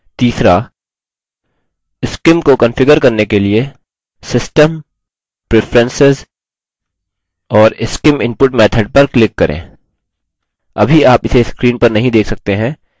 तीसरा scim को configure करने के लिए system preferences और scim input method पर click करें